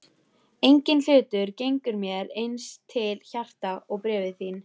Enginn hlutur gengur mér eins til hjarta og bréfin þín.